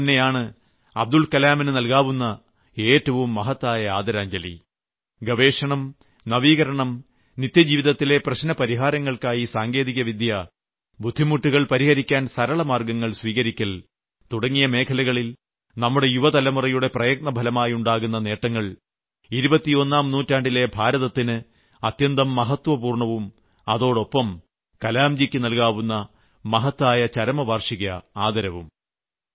ഇതുതന്നെയാണ് അബ്ദുൽകലാമിനു നൽകാവുന്ന ഏറ്റവും മഹത്തായ ആദരാഞ്ജലി ഗവേഷണം നവീകരണം നിത്യജീവിതത്തിലെ പ്രശ്നപരിഹാരങ്ങൾക്കായി സാങ്കേതികവിദ്യ ബുദ്ധിമുട്ടുകൾ പരിഹരിക്കാൻ സരളമാർഗ്ഗങ്ങൾ സ്വീകരിയ്ക്കൽ തുടങ്ങിയ മേഖലകളിൽ നമ്മുടെ യുവതലമുറയുടെ പ്രയത്നഫലമായുണ്ടാകുന്ന നേട്ടങ്ങൾ ഇരുപത്തിയൊന്നാം നൂറ്റാണ്ടിലെ ഭാരതത്തിന് അത്യന്തം മഹത്വപൂർണ്ണവും അതോടൊപ്പം കലാംജിയ്ക്ക് നൽകാവുന്ന മഹത്തായ ചരമവാർഷിക ആദരവും